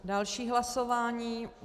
Další hlasování.